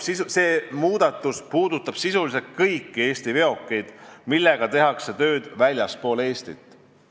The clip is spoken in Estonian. See muudatus puudutab sisuliselt kõiki Eesti veokeid, millega tehakse tööd väljaspool Eestit.